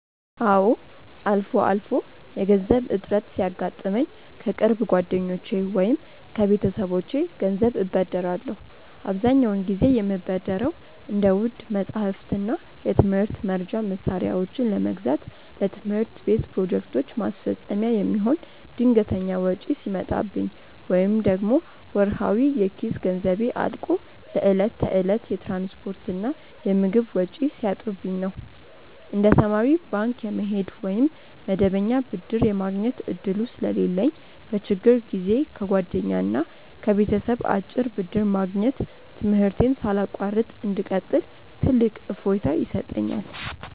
አዎ፣ አልፎ አልፎ የገንዘብ እጥረት ሲያጋጥመኝ ከቅርብ ጓደኞቼ ወይም ከቤተሰቦቼ ገንዘብ እበደራለሁ። አብዛኛውን ጊዜ የምበደረው እንደ ውድ መጻሕፍትና የትምህርት መርጃ መሣሪያዎችን ለመግዛት፣ ለትምህርት ቤት ፕሮጀክቶች ማስፈጸሚያ የሚሆን ድንገተኛ ወጪ ሲመጣብኝ፣ ወይም ደግሞ ወርሃዊ የኪስ ገንዘቤ አልቆ ለዕለት ተዕለት የትራንስፖርትና የምግብ ወጪ ሲያጥርብኝ ነው። እንደ ተማሪ ባንክ የመሄድ ወይም መደበኛ ብድር የማግኘት ዕድሉ ስለሌለኝ፣ በችግር ጊዜ ከጓደኛና ከቤተሰብ አጭር ብድር ማግኘት ትምህርቴን ሳላቋርጥ እንድቀጥል ትልቅ እፎይታ ይሰጠኛል።